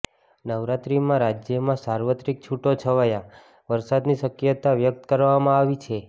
નવરાત્રીમાં રાજ્યમાં સાર્વત્રિક છૂટો છવાયા વરસાદની શક્યતા વ્યક્ત કરવામાં આવી છે